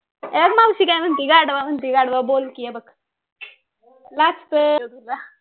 हे बघ मावशी काय म्हणती गाढवा म्हणती गाढवा बोल कि हे बघ लाजतोय अगं तुला